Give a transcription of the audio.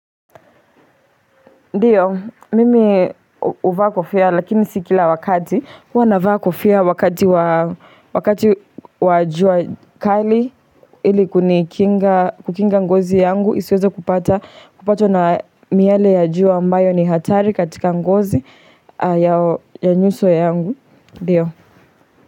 Ndio, mimi huvaa kofia lakini si kila wakati, huwa navaa kofia wakati wa jua kali ili kukinga ngozi yangu, isiweze kupata kupatwa na miale ya jua ambayo ni hatari katika ngozi ya nyuso yangu.